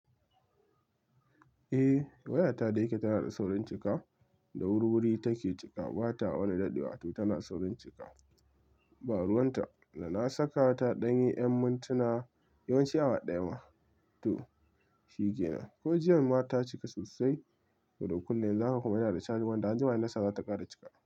Eh, waya ta da yake tana da saurin cika, da wuri-wuri take cika. Ba ta wani daddewa, to tana saurin cika. Baruwan ta da na saka ta ɗan yi ƴan mintuna, yawanci awa ɗaya ma, to shike nan. Ko jiya ma ta cika sosai, to duk kullum yanzu haka ina da caji, wanda anjima inna saka za ta ƙara cika.